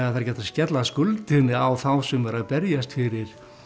ekki hægt að skella skuldinni á þá sem eru að berjast fyrir